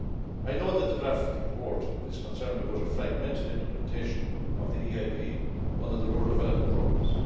I note that the draft report is concerned about a fragmented implementation of the EIP under the rural development programmes.